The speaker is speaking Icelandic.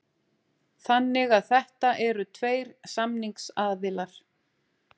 Þannig að þetta eru tveir samningsaðilar